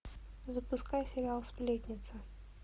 запускай сериал сплетница